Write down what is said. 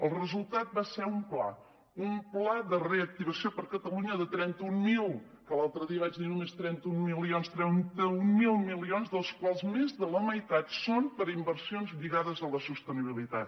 el resultat va ser un pla un pla de reactivació per a catalunya de trenta mil milions que l’altre dia vaig dir només trenta un milions dels quals més de la meitat són per a inversions lligades a la sostenibilitat